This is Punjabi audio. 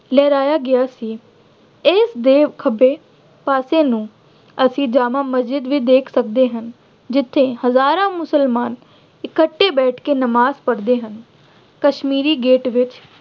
ਲਹਿਰਾਇਆ ਗਿਆ ਸੀ। ਇਸਦੇ ਖੱਬੇ ਪਾਸੇ ਨੂੰ ਅਸੀਂ ਜਾਮਾ ਮਸਜ਼ਿਦ ਵੀ ਦੇਖ ਸਕਦੇ ਹਾਂ। ਜਿੱਥੇ ਹਜ਼ਾਰਾਂ ਮੁਸਲਮਾਨ ਇਕੱਠੇ ਬੈਠ ਕੇ ਨਵਾਜ਼ ਪੜ੍ਹਦੇ ਹਨ। ਕਸ਼ਮੀਰੀ ਗੇਟ ਵਿੱਚ